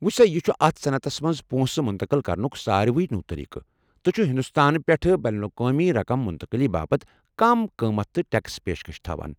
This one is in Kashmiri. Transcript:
وُچھ سا یہِ چُھ اتھ صنعتس منزپۄنٛسہٕ مُنتقل كرنُک ساروٕے نوٚو طریقہٕ، تہٕ چُھ ہندوستان پٮ۪ٹھٕہ بین الاقوٲمی رقم منتقٕلی باپت کم قۭمتھ تہٕ ٹیكس پیشكش تھاوان ۔